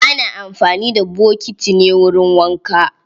Ana amfani da bokiti ne wurin wanka.